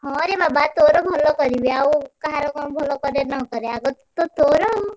ହଁ ରେ ବାବା ତୋର ଭଲ କରିବି, ଆଉ କାହାର କଣ ଭଲ କରେ ନକରେ ଆଗ ତ ତୋର ଆଉ।